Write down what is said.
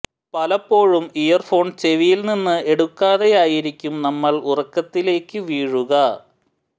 പലപ്പോഴും earphone ചെവിയിൽ നിന്ന് എടുക്കാതെയായിരിക്കും നമ്മൾ ഉറക്കത്തിലേക്ക് വീഴുക